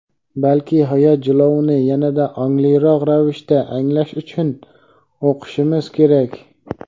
balki hayot jilovini yanada ongliroq ravishda anglash uchun o‘qishimiz kerak.